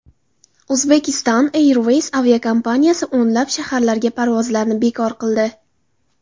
Uzbekistan Airways aviakompaniyasi o‘nlab shaharlarga parvozlarni bekor qildi.